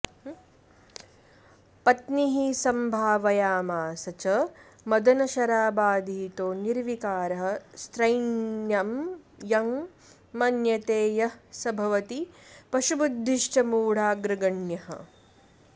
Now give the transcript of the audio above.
पत्नीः सम्भावयामास च मदनशराबाधितो निर्विकारः स्त्रैणं यं मन्यते यः स भवति पशुबुद्धिश्च मूढाग्रगण्यः